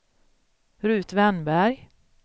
Rut Wennberg